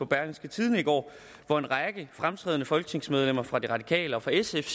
berlingske tidende i går var en række fremtrædende folketingsmedlemmer fra de radikale og fra sf